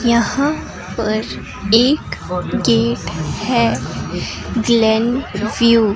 यहां पर एक गेट है व्यू ।